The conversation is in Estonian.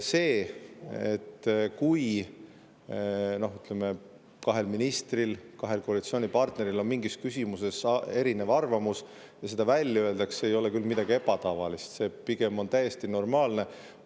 See, kui kahel ministril, kahel koalitsioonipartneril on mingis küsimuses erinev arvamus ja see välja öeldakse, ei ole küll midagi ebatavalist, pigem on see täiesti normaalne.